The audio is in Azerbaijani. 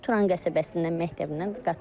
O da Turan qəsəbəsindən məktəbindən qatılıb.